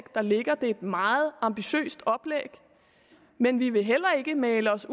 der ligger det er et meget ambitiøst oplæg men vi vil heller ikke male os